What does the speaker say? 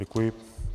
Děkuji.